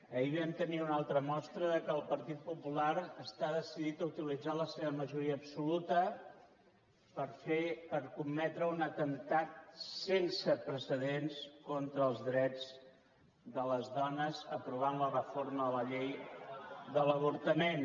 ahir vam tenir una altra mostra que el partit popular està decidit a utilitzar la seva majoria absoluta per fer per cometre un atemptat sense precedents contra els drets de les dones aprovant la reforma de la llei de l’avortament